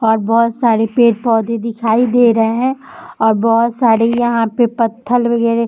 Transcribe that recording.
और बहुत सारे पेड़-पौधे दिखाई दे रहे है और बहुत सारे यहाँ पे पत्थल वगैरे --